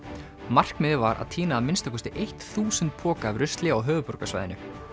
markmiðið var að tína að minnsta kosti eitt þúsund poka af rusli á höfuðborgarsvæðinu